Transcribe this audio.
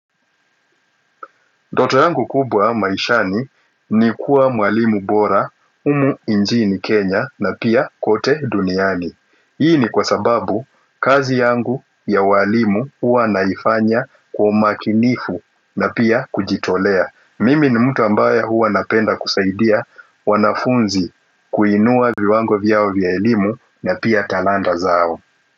Ndoto yangu kubwa maishani ni kuwa mwalimu bora, humu nchini Kenya na pia kote duniani. Hii ni kwa sababu kazi yangu ya uwalimu huwa naifanya kwa umakinifu na pia kujitolea. Mimi ni mtu ambaye huwa napenda kusaidia wanafunzi kuinua viwango vyao vya elimu na pia talanta zao.